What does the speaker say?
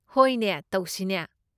ꯍꯣꯏꯅꯦ, ꯇꯧꯁꯤꯅꯦ꯫